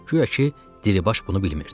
Guya ki, Diribaş bunu bilmirdi.